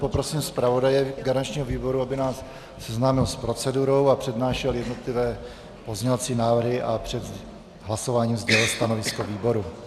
Poprosím zpravodaje garančního výboru, aby nás seznámil s procedurou a přednášel jednotlivé pozměňovací návrhy a před hlasováním sdělil stanovisko výboru.